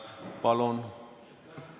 Palun!